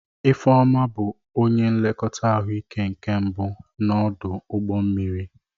Ifeoma bụ onye nlekọta ahụike nke mbụ n'ọdụ ụgbọ mmiri.